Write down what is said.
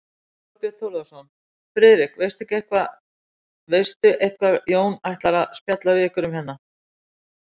Þorbjörn Þórðarson: Friðrik, veistu eitthvað Jón ætlar að spjalla við ykkur um hérna?